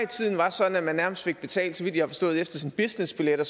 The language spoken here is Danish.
tiden var sådan at man nærmest fik det betalt efter sine businessbilletter